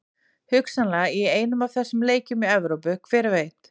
Hugsanlega í einum af þessum leikjum í Evrópu, hver veit?